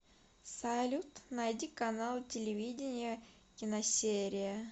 салют найди канал телевидения киносерия